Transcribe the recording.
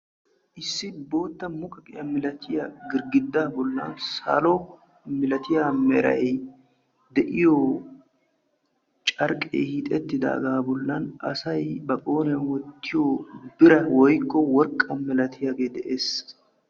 issi bootta godaa bolanni salo merayi de"yo curqayi hiixetidaga bollani dumma dumma aleeqo miishati assay ba qooriyani wottanaw maadiyagetti kaqetidi beettosona.